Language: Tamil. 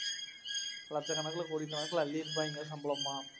லட்சக்கணக்கில கோடிக்கணக்கில்அள்ளி இருப்பாங்க சம்பளமா